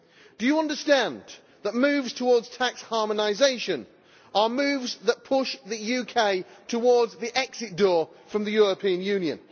Do you understand that moves towards tax harmonisation are moves that push the UK towards the exit door from the European Union?